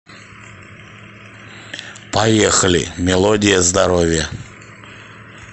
поехали мелодия здоровья